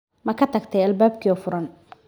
Ma ka tagtay albaabkii oo furan?